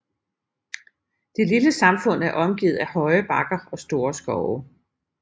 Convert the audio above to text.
Det lille samfund er omgivet af høje bakker og store skove